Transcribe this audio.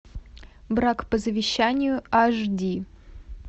брак по завещанию аш ди